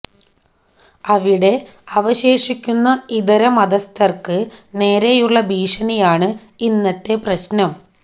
അവിടെ അവശേഷിക്കുന്ന ഇതര മതസ്ഥർക്ക് നേരെയുള്ള ഭീഷണിയാണ് ഇന്നത്തെ പ്രശ്നം